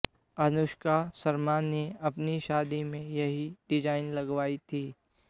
अनुष्का शर्मा ने अपनी शादी में यही डिजाइन लगवाई थी